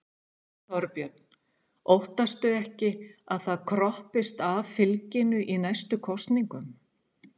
Þorbjörn: Óttastu ekki að það kroppist af fylginu í næstu kosningum?